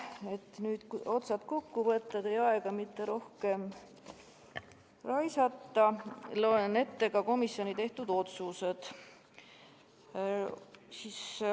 Et nüüd otsad kokku võtta ja teie aega rohkem mitte raisata, loen ette ka komisjoni tehtud otsused.